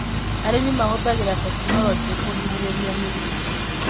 Arĩmi mahũthagĩra tekinoronjĩ kũgirĩrĩria mĩrimũ